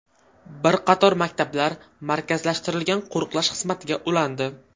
Bir qator maktablar markazlashtirilgan qo‘riqlash xizmatiga ulandi.